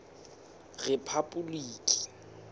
rephapoliki